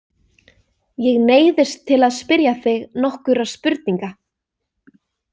Ég neyðist til að spyrja þig nokkurra spurninga.